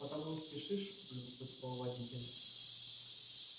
потому и спешишь полюбопытствовал водитель